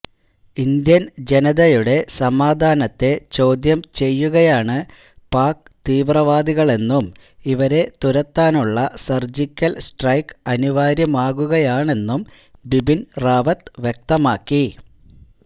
Indian ജനതയുടെ സമാധാനത്തെ ചോദ്യം ചെയ്യുകയാണ് പാക് തീവ്രവാദികളെന്നും ഇവരെ തുരത്താനുള്ള സർജിക്കൽ സ്ട്രൈക്ക് അനിവാര്യമാകുകയാണെന്നും ബിപിൻ റാവത്ത് വ്യക്തമാക്കി